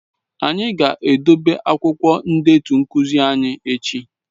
Anyị ga-edobe akwụkwọ ndetu nkuzi anyị echi